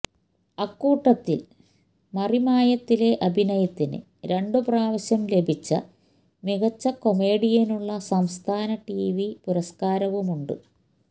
അക്കൂട്ടത്തിൽ മറിമായത്തിലെ അഭിനയത്തിന് രണ്ടു പ്രാവശ്യം ലഭിച്ച മികച്ച കൊമേഡിയനുള്ള സംസ്ഥാന ടിവി പുരസ്കാരവുമുണ്ട്